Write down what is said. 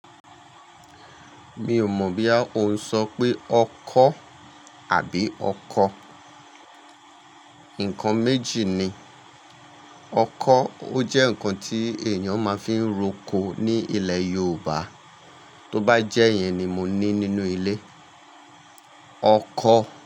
Mi ò mọ̀ bí yà ó ń sọ pé ọkọ́ àbí ọkọ. Nǹkan méjì ni, ọkọ́ ó jẹ́ ǹkan tí èèyàn máa ń fi ń roko ní ilẹ̀ Yorùbá, tó bá jẹ́ yẹn ni mo ní nínú ilé. Ọkọ̀